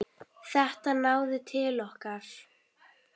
Þetta náði til okkar.